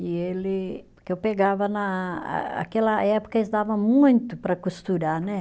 E ele, porque eu pegava na ah ah, aquela época eles dava muito para costurar, né?